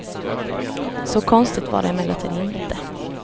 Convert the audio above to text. Så konstigt var det emellertid inte.